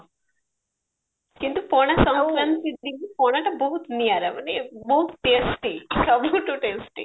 କିନ୍ତୁ ପଣା ଶଙ୍କରାନ୍ତି ଦିନ ପଣା ଟା ବହୁତ ନିଆରା ମାନେ ବହୁତ testy ସବୁଠୁ testy